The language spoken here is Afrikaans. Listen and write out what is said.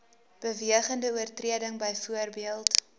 bewegende oortreding byvoorbeeld